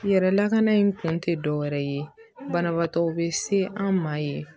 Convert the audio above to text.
Yɛrɛ lakana in kun tɛ dɔwɛrɛ ye banabaatɔ bɛ se an ma yen